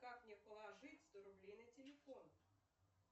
как мне положить сто рублей на телефон